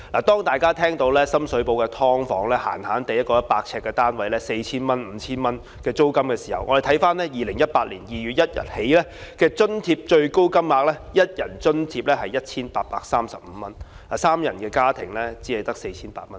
當大家聽到深水埗一個100平方呎的"劏房"租金隨時也要 4,000 元、5,000 元的時候，我們看看2018年2月1日起的津貼最高金額 ，1 人津貼只有 1,835 元，三人家庭只有 4,800 元。